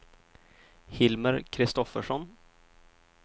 Hilmer Kristoffersson